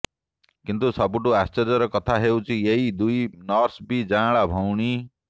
କିନ୍ତୁ ସବୁଠୁ ଆଶ୍ଚର୍ଯ୍ୟର କଥା ହେଉଛି ଏହି ଦୁଇ ନର୍ସ ବି ଯାଆଁଳା ଭଉଣୀ